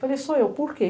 Falei, sou eu, por quê?